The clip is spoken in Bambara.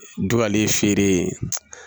Dugalen feere